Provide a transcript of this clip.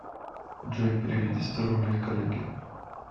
джой переведи сто рублей коллеге